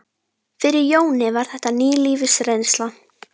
Fyrir Jóni var þetta ný lífsreynsla.